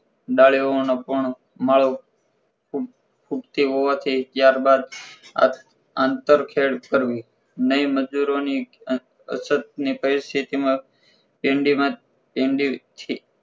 ડાંડીઓનો પોણો ઉગ ઊગતી હોવાથી ત્યારબાદ આંત આંતરખેડ કરવી નઇ મજૂરોની અછત ની પરિસ્થતિમાં કેન્ડીમાં કેન્ડીથી